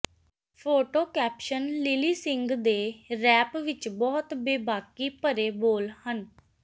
photo caption Lilly Singh ਦੇ rap ਵਿੱਚ ਬਹੁਤ ਬੇਬਾਕੀ ਭਰੇ ਬੋਲ ਹਨ